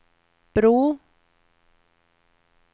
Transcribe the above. bro